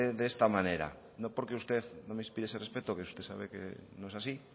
de esta manera no porque usted no me inspire ese respeto que usted sabe que no es así